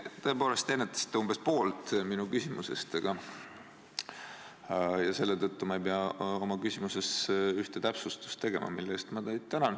Te tõepoolest ennetasite umbes poolt minu küsimusest ja selle tõttu ma ei pea ka oma küsimuses ühte täpsustust tegema, mille eest ma teid tänan.